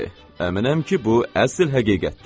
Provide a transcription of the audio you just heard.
Əminəm ki, bu əsl həqiqətdir.